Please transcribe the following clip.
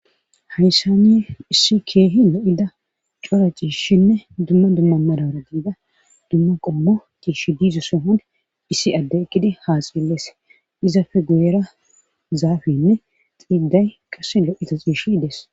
Hayssani issi keehi lo7ida cora ciishinne dumma dumma maraara diza dumma qommo ciishi diza sohon issi addey eqqidi haasayidi Des izape guyera zaafeynne indday qassi louiza ciishi Des.